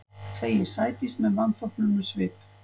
segir Sædís með vanþóknunarsvip.